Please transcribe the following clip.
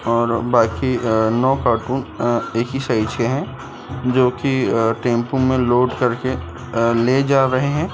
और बाकी अ नौ कार्टून अ एक ही साइज के हैं जो की अ टेंपो में लोड करके अ ले जा रहे हैं।